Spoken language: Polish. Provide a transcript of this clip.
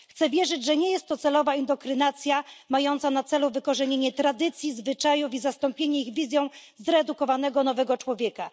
Chcę wierzyć, że nie jest to celowa indoktrynacja mająca na celu wykorzenienie tradycji zwyczajów i zastąpienie ich wizją zredukowanego, nowego człowieka.